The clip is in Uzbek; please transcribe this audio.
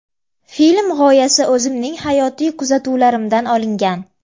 Film g‘oyasi o‘zimning hayotiy kuzatuvlarimdan olingan.